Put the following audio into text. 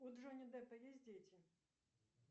у джонни деппа есть дети